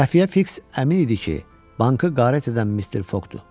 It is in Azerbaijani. Xəfiyyə Fiks əmin idi ki, bankı qarət edən Mister Foqdur.